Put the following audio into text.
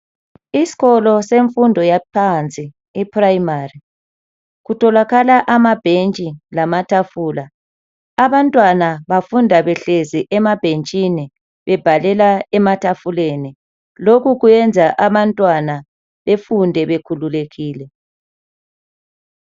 Isikolo semfundo yaphansi iprimary kutholakala amabhentshi lamatafula. Abantwana bafunda behlezi emabhentshini bebhalela ematafuleni. Lokhu kuyenza abantwana befunde bekhululekile.